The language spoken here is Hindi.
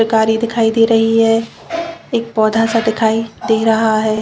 कारी दिखाई दे रही है। एक पौधा सा दिखाई दे रहा है।